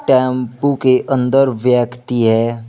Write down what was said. Tempo के अंदर व्यक्ति है।